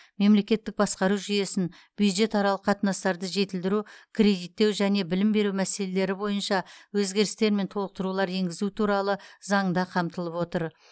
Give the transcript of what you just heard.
мемлекеттік басқару жүйесін бюджетаралық қатынастарды жетілдіру кредиттеу және білім беру мәселелері бойынша өзгерістер мен толықтырулар енгізу туралы заңында қамтылып отыр